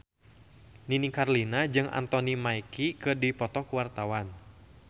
Nini Carlina jeung Anthony Mackie keur dipoto ku wartawan